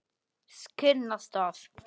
Skinnastað